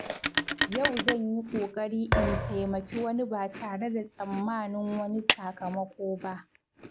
Yau zan yi kokari in taimaki wani ba tare da tsammanin wani sakamako ba.